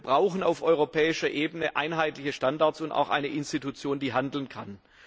Wir brauchen auf europäischer Ebene einheitliche Standards und auch eine Institution, die handeln kann.